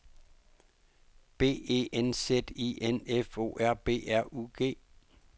B E N Z I N F O R B R U G